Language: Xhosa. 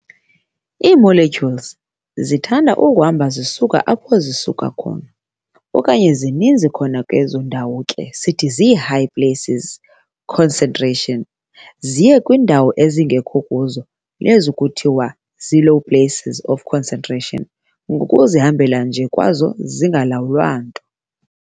Ii-Molecules zithanda ukuhamba zisuka kwindawo apho zisuka okanye zininzi khona ezo ndawo ke sithi zii-high places concentration, ziye kwiindawo ezingekho kuzo nekuthiwa zii-low places of concentration, ngokuzihambela nje kwazo zingalawulwa nto.